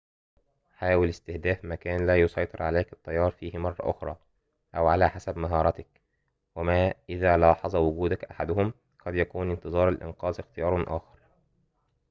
حاول استهداف مكان لا يسيطر عليك التيار فيه مرة أخرى أو على حسب مهاراتك وما إذا لاحظ وجودك أحدهم قد يكون انتظار الإنقاذ اختيار آخر